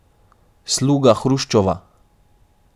Sluga Hruščova?